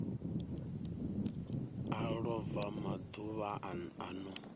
a lova maḓuvha a no